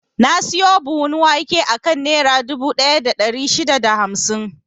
Na siyo buhun wake akan Nera dubu ɗaya da ɗari shida da hamsin.